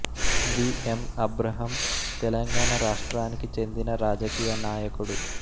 వి M Abraham Telangana రాష్ట్రానికి చెందిన రాజకీయ నాయకుడు